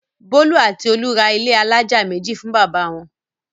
Bólú àti Olú ra ilé alájà méjì fún bàbá wọn.